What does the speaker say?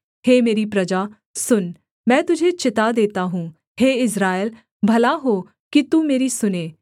हे मेरी प्रजा सुन मैं तुझे चिता देता हूँ हे इस्राएल भला हो कि तू मेरी सुने